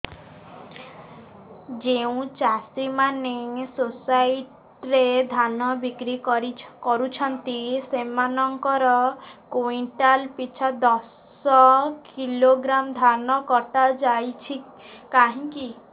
ଯେଉଁ ଚାଷୀ ମାନେ ସୋସାଇଟି ରେ ଧାନ ବିକ୍ରି କରୁଛନ୍ତି ସେମାନଙ୍କର କୁଇଣ୍ଟାଲ ପିଛା ଦଶ କିଲୋଗ୍ରାମ ଧାନ କଟା ଯାଉଛି କାହିଁକି